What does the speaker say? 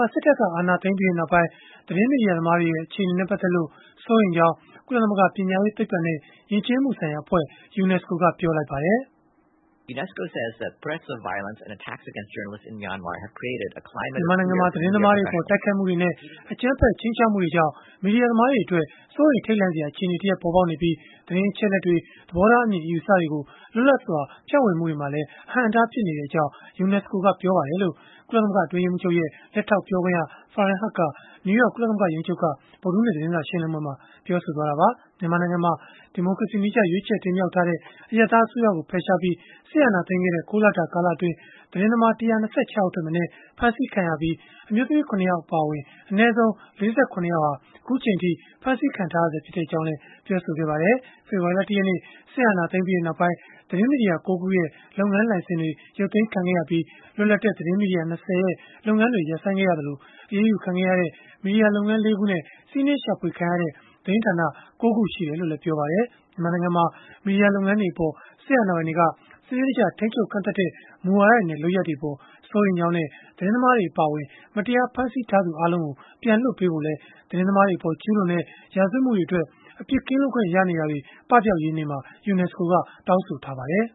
ှာ စစ်တပ်က အာဏာသိမ်းပြီးနောက်ပိုင်း သတင်းမီဒီယာ သမားတွေရဲ့ အခြေအနေနဲ့ ပတ်သက်လို့ စိုးရိမ်ကြောင်း ကုလသမဂ္ဂ ပညာရေး၊ သိပ္ပံနဲ့ ယဉ်ကျေးမှုဆိုင်ရာ အဖွဲ့ ကပြောလိုက်ပါတယ်။ “မြန်မာနိုင်ငံမှာ သတင်းသမားတွေအပေါ် တိုက်ခိုက်မှုတွေနဲ့ အကြမ်းဖက် ခြိမ်းခြောက်မှုတွေကြောင့် မီဒီယာသမားတွေအတွက် စိုးရိမ်ထိတ်လန့်စရာ အခြေအနေတရပ် ပေါ်ပေါက်နေပြီး သတင်းအချက်အလက်တွေ၊ သဘောထားအမြင်၊ အယူအဆတွေကို လွတ်လပ်စွာ ဖြန့်ဝေမှုတွေမှာလည်း အဟန့်အတား ဖြစ်နေကြောင်း UNESCO ကပြောပါတယ်။” လို့ ကုလသမဂ္ဂ အတွင်းရေးမှူးချုပ်ရဲ့ လက်ထောက်ပြောခွင့်ရ Farhan Haq က နယူးယောက် ကုလသမဂ္ဂ ရုံးချုပ်က အင်္ဂါနေ့ သတင်းစာရှင်းလင်းပွဲမှာ ပြောဆိုလိုက်တာပါ။ မြန်မာနိုင်ငံမှာ ဒီမိုကရေစီနည်းကျ ရွေးချယ်တင်မြှောက်ထားတဲ့ အရပ်သား အစိုးရကို ဖယ်ရှားပြီး စစ်အာဏာသိမ်းခဲ့တဲ့ ၉ လတာ ကာလအတွင်း သတင်းသမား ၁၂၆ ယောက်ထက်မနည်း ဖမ်းဆီးခံခဲ့ရပြီး အမျိုးသမီး ၇ ယောက် အပါအဝင် အနည်းဆုံး ၄၇ ယောက်ဟာ အခုအချိန်အထိ ဖမ်းဆီးခံထားရဆဲ ဖြစ်ကြောင်းလည်း ပြောပါတယ်။ ဖေဖော်ဝါရီလ ၁ ရက်နေ့ စစ်အာဏာသိမ်းပြီးနောက်ပိုင်း သတင်းမီဒီယာ ၉ ခု ရဲ့ လုပ်ငန်းလိုင်စင်တွေ ရုပ်သိမ်းခံခဲ့ရပြီး လွတ်လပ်တဲ့ သတင်းမီဒီယာ ၂၀ ရဲ့ လုပ်ငန်းတွေ ရပ်ဆိုင်းခဲ့ရသလို အရေးယူခံခဲ့ရတဲ့ မီဒီယာလုပ်ငန်း ၄ ခုနဲ့ စီးနင်းရှာဖွေခံရတဲ့ သတင်းဌာန ၉ ခု ရှိတယ်လို့လည်း ပြောပါတယ်။ မြန်မာနိုင်ငံမှာ မီဒီယာလုပ်ငန်းတွေအပေါ် စစ်အာဏာပိုင်တွေက စနစ်တကျ ထိန်းချုပ်ကန့်သတ်တဲ့ မူဝါဒတွေနဲ့ လုပ်ရပ်တွေအပေါ် စိုးရိမ်ကြောင်းနဲ့ သတင်းသမားတွေ အပါအဝင် မတရား ဖမ်းဆီးထားသူ အားလုံးကို ပြန်လွှတ်ပေးဖို့လည်း သတင်းသမားတွေအပေါ် ကျုးလွန်တဲ့ ရာဇဝတ်မှုတွေအတွက် အပြစ်ကင်းလွတ်ခွင့် ရနေတာတွေ ပပျောက်ရေးနေ့မှာ UNESCO က တောင်းဆိုထားပါတယ်